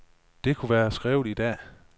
Det kunne være skrevet i dag.